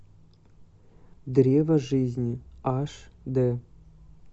древо жизни аш д